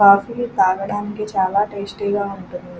Coffee తాగడానికి చాలా tasty గా ఉంటుంది.